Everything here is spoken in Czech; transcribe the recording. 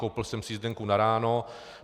Koupil jsem si jízdenku na ráno.